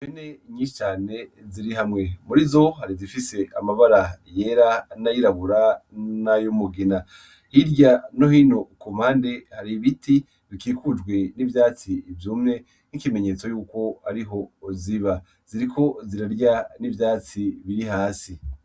Impene nyinshi cane ziri hamwe muri zo hari zifise amabara yera n'ayirabura nay'umugina hirya nohino kumpande har'ibiti bikikujwe n'ivyatsi vyumye nk'ikimenyetso yuko ari ho ziba ziriko zirarya n'ivyatsi biri hasi.